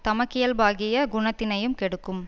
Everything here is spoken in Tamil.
தமக்கியல்பாகிய குணத்தினையும் கெடுக்கும்